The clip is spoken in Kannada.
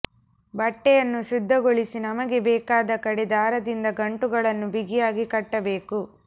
ಬಟ್ಟೆಯನ್ನು ಶುದ್ಧಿಗೊಳಿಸಿ ನಮಗೆ ಬೇಕಾದ ಕಡೆ ದಾರದಿಂದ ಗಂಟುಗಳನ್ನು ಬಿಗಿಯಾಗಿ ಕಟ್ಟಬೇಕು